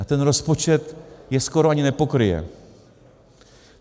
A ten rozpočet je skoro ani nepokryje.